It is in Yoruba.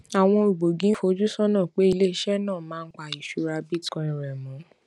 àwọn ògbógi ń fojú sónà pé ilé iṣé náà máa ń pa ìṣúra bitcoin rè mó